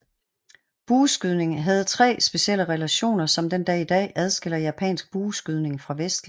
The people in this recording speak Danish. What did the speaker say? Bueskydning have tre specielle relationer som den dag i dag adskiller japansk bueskydning fra vestlig